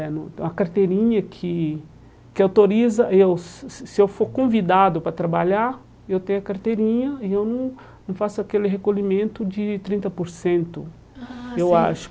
Eh no A carteirinha que que autoriza, eu se se eu for convidado para trabalhar, eu tenho a carteirinha e eu não não faço aquele recolhimento de trinta por cento, ah sim eu acho.